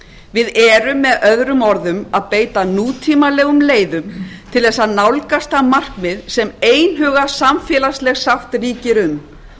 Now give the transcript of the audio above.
við erum með öðrum orðum að beita nútímalegum leiðum til þess að nálgast það markmið sem einhuga samfélagsleg sátt ríkir um